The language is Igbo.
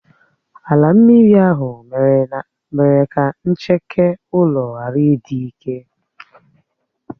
Álà mmiri ahụ mere ka ncheke ulo ghárà ịdị ike.